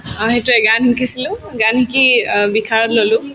অ, সেইটোয়ে গান শিকিছিলো গান শিকি অ ললো